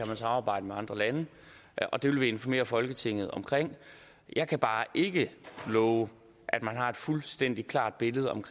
kan samarbejde med andre lande og det vil vi informere folketinget om jeg kan bare ikke love at man har et fuldstændig klart billede at